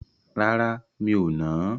Rárá, mi ò nà á.